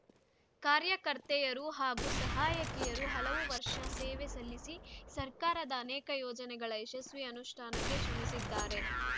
ಕಾರ್ಯಕರ್ತೆಯರು ಹಾಗೂ ಸಹಾಯಕಿಯರು ಹಲವು ವರ್ಷ ಸೇವೆ ಸಲ್ಲಿಸಿ ಸರ್ಕಾರದ ಅನೇಕ ಯೋಜನೆಗಳ ಯಶಸ್ವಿ ಅನುಷ್ಠಾನಕ್ಕೆ ಶ್ರಮಿಸಿದ್ದಾರೆ